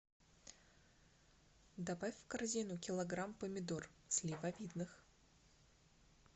добавь в корзину килограмм помидор сливовидных